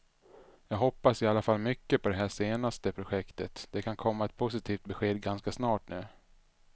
Jag hoppas i alla fall mycket på det här senaste projektet, det kan komma ett positivt besked ganska snart nu.